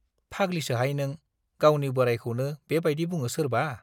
फाग्लिसोहाय नों, गावनि बोराइखौनो बे बाइदि बुङो सोरबा?